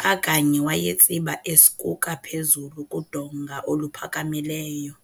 xa kanye wayetsiba eskuka phezulu kudonga oluphakamileyo.